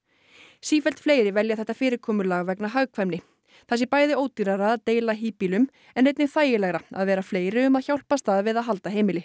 sífellt fleiri velja þetta fyrirkomulag vegna hagkvæmni það sé bæði ódýrara að deila híbýlum en einnig þægilegra að vera fleiri um að hjálpast að við að halda heimili